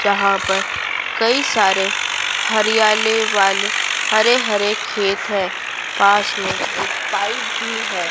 जहां पर कई सारे हरियाले वाले हरे-हरे खेत है पास में एक पाइप भी है।